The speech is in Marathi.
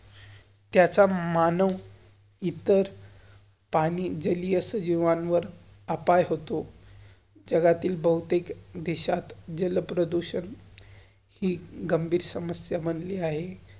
त्याचा मानव इतर पाणी, जलीय, अश्या जिवांवर, हताश होतो. जगातील बहुतेक देशात जलप्रदूषण हि गंभीर समयस्या बनली आहे.